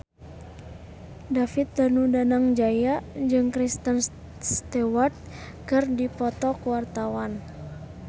David Danu Danangjaya jeung Kristen Stewart keur dipoto ku wartawan